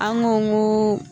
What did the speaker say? An go n go